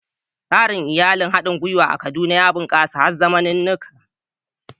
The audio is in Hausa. Tsarin iyali na haɗin gwiwa a Kaduna ya bunƙasa har zamaninuka